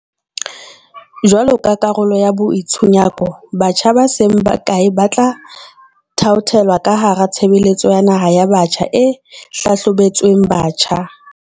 Jwalo ka karolo ya boitshunyako, batjha ba seng bakae ba tla thaothelwa ka hara tshebeletso ya naha ya Batjha e hlabolotsweng batjha.